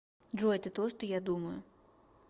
джой это то что я думаю